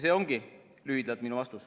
See ongi lühidalt minu vastus.